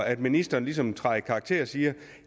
at ministeren ligesom træder i karakter og siger at